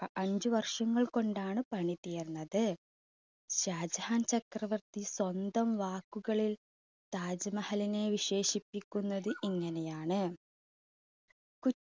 അഞ്ച് വർഷങ്ങൾ കൊണ്ടാണ് പണി തീർന്നത്. ഷാജഹാൻ ചക്രവർത്തി സ്വന്തം വാക്കുകളിൽ താജ് മഹലിനെ വിശേഷിപ്പിക്കുന്നത് ഇങ്ങനെയാണ് കു~